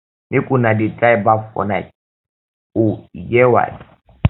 make una dey try baff for night o e get why